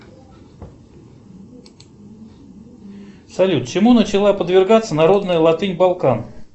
салют чему начала подвергаться народная латынь балкан